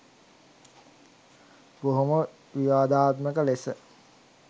බොහොම විවාදාත්මක ලෙස